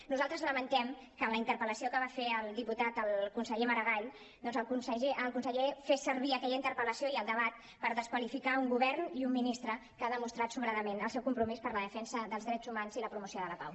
nosaltres lamentem que a la interpel·lació que va fer el diputat al conseller maragall doncs el conseller fes servir aquella interpel·lació i el debat per desqualificar un govern i un ministre que ha demostrat sobradament el seu compromís per la defensa dels drets humans i la promoció de la pau